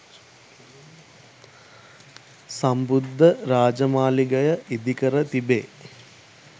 සම්බුද්ධ රාජමාලිගය ඉදිකර තිබේ